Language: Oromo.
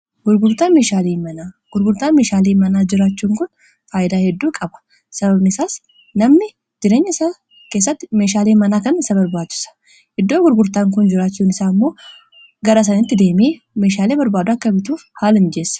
Gurgurtaan meeshaalee manaa jirachuun kun faayidaa hedduu qaba sababnisaas namni jireenya isaa keessatti meeshaalee manaa kan isa barbaachisa iddoo gurgurtaan kun jiraachuun isaa immoo gara sanitti deemanii meeshaalii barbaachisoo akka bituuf haala ni mijeessa